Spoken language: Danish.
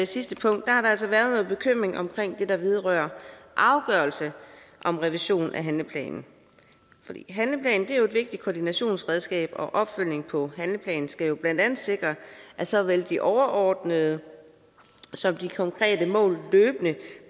sidste punkt har der altså været noget bekymring omkring det der vedrører afgørelse om revision af handleplanen handleplanen er jo et vigtigt koordinationsredskab og opfølgning på handleplanen skal jo blandt andet sikre at såvel de overordnede som de konkrete mål løbende